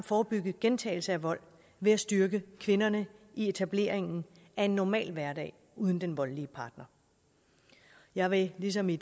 forebygge en gentagelse af vold ved at styrke kvinderne i etableringen af en normal hverdag uden den voldelige partner jeg vil ligesom i